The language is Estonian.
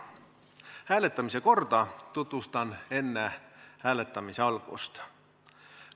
Hääletamise korda tutvustan enne hääletamise algust.